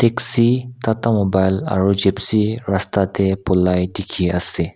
taxi tata mobile aro gypsy raste de bulai diki ase.